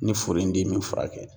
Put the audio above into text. Ni furu in tɛ min furakɛ